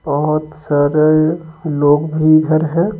बहुत सारे लोग भी इधर हैं।